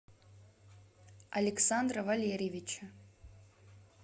александра валерьевича